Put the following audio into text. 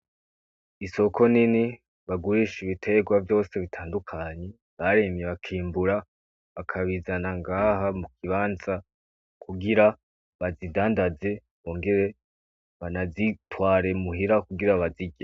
Isoko nini bagurisha ibiterwa vyose bitandukanye barimye bakimbura bakabizana ngaha mukibanza kugira bazidandaze bongere banazitware muhira kugira bazirye.